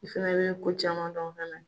I fana bɛ ko caman dɔn fɛnɛ